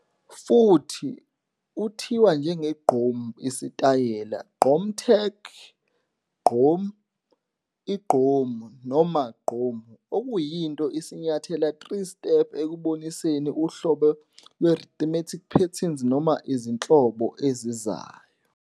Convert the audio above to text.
Futhi, uthiwa njenge-GQOM, isitayela, gqom tech, qgom, igqom, noma gqomu, okuyinto i-sinyathelo 3 step ekuboniseni uhlobo lwe-rhythmic patterns noma izinhlobo zayo.